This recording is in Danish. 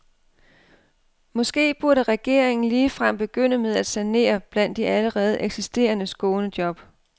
Måske burde regeringen ligefrem begynde med at sanere blandt de allerede eksisterende skånejob.